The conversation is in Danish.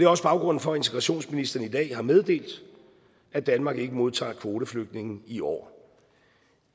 også baggrunden for at integrationsministeren i dag har meddelt at danmark ikke modtager kvoteflygtninge i år